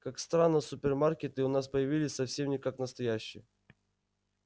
как странно супермаркеты у нас появились совсем как настоящие